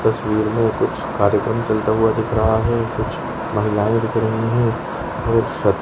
इस तस्वीर में कुछ कार्यक्रम चलता हुआ दिख रहा है कुछ महिलाएं दिख रही है। --